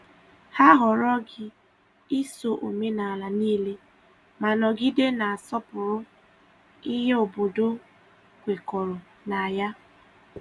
Hà họrọghị iso omenala niile, ma nọgide na-asọpụrụ ihe obodo kwekọrọ na ya.